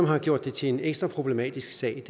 har gjort det til en ekstra problematisk sag